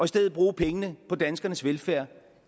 stedet bruge pengene på danskernes velfærd